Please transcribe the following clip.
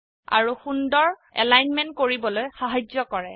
আৰু সুন্দৰ এলাইনমেন্ট কৰিবলৈ সাহায্য কৰে